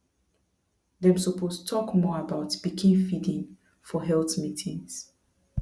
dem suppose talk more about pikin feeding for health meetings